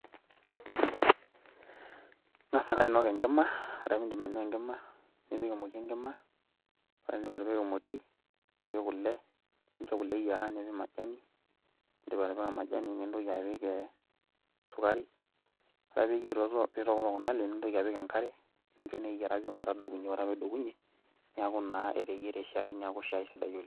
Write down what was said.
Ingas ake ainok enkima ore pee idip ainua enkima, nipik emoti enkima, nipik kule nincho kule eyiera nipik majani nintoki apik esukari. Ore pee eitokitok kunale nintoki apik enkare ore pee edokunye, neaku naa eteyiere shaai neaku naa shaai sidai oleng.